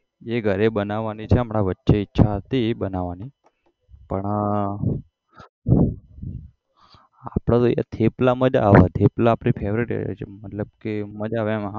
જે ઘરે બનાવાની છે હમણાં વચ્ચે ઈચ્છા હતી બનવાની પણ આપડે એ તો થેપલા મજા આવે થેપલા આપડી favourite મતલબ કે મજા આવે એમ આપડે